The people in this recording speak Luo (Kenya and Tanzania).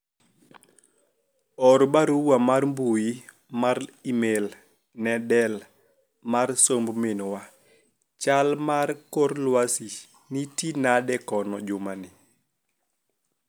or barua mar mbui mar email ne del mar somb minwa chal mar kor lwasi niti nade kono jumani